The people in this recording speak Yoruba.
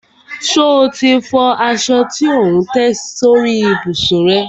Ṣe o ti fọ aṣọ tí ò ń tẹ́ sórí ìbùsùn rẹ?